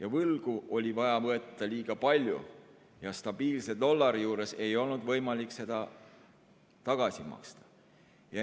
Aga võlgu oli vaja võtta liiga palju ja stabiilse dollari korral ei olnud võimalik seda tagasi maksta.